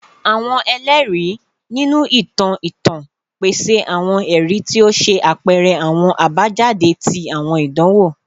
Awọn ẹlẹri, ninu itan itan, pese awọn ẹri ti o ṣe apẹrẹ awọn abajade ti awọn idanwo